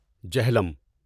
Jhelum